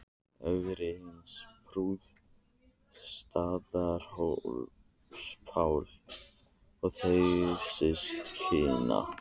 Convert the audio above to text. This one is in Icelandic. Ögri hins prúða, Staðarhóls-Páls og þeirra systkina.